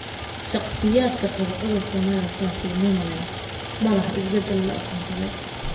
Shakhsiyaadka qaba cudurka myopathy nemaline ma laha isbedel la aqoonsaday.